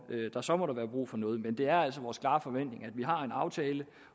der så måtte være brug for noget men det er altså vores klare forventning at vi har en aftale